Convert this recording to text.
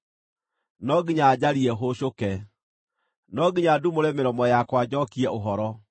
no nginya njarie hũũcũke, no nginya ndumũre mĩromo yakwa njookie ũhoro.